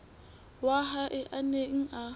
wa hae a neng a